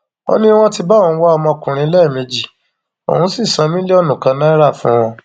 ó ní wọn ti bá òun wá ọmọkùnrin lẹẹmejì òun sì san mílíọnù kan náírà fún wọn